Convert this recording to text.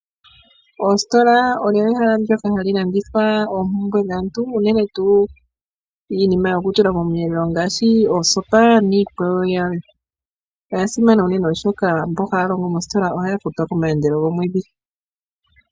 Ositola olyo ehala ndyoka hali landitha oopumbwe dhaantu unene tu iinima yokutula komwelelo ngaashi oosopa niikwawo yilwe, oyasimana unene oshoka mboka haya longo mo ohaya futwa komayendelo gomwedhi.